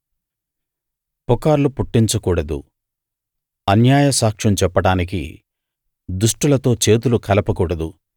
పుకార్లు పుట్టించకూడదు అన్యాయ సాక్ష్యం చెప్పడానికి దుష్టులతో చేతులు కలప కూడదు